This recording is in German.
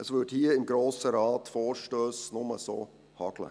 Es würde hier, im Grossen Rat, nur so Vorstösse hageln.